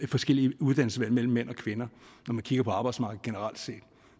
forskellige uddannelsesvalg mellem mænd og kvinder når man kigger på arbejdsmarkedet generelt set